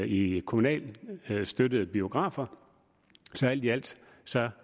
i kommunalt støttede biografer så alt i alt